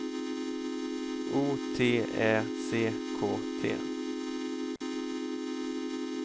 O T Ä C K T